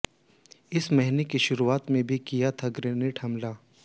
इस महीने की शुरुआत में भी किया था ग्रेनेड हमला